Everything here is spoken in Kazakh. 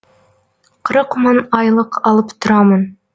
қырық мың айлық алып тұрамын